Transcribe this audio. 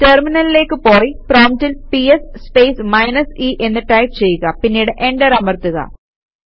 ടെര്മിനലിലേക്ക് പോയി പ്രോംപ്റ്റിൽ PS space minus e എന്ന് ടൈപ് ചെയ്യുക പിന്നീട് എന്റര് അമര്ത്തുക